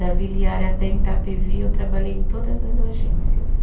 Da Vila Yara até em Itapevi, eu trabalhei em todas as agências.